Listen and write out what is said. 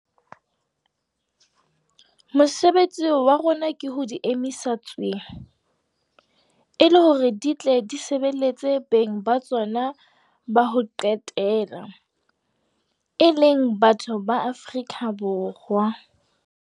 Mosebetsi wa rona ke ho di emisa tswee, e le hore di tle di sebeletse beng ba tsona ba ho qetela e leng batho ba Afrika Borwa.